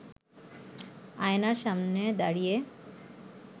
আয়নার সামনে দাঁড়িয়ে